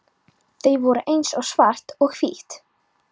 Þau voru eins og svart og hvítt.